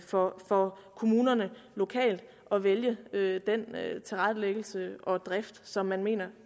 for for kommunerne lokalt at vælge den tilrettelæggelse og drift som man mener